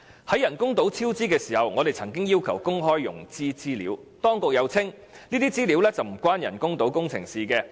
在人工島超支時，我們曾要求公開融資資料，當局又稱這些資料與人工島工程無關。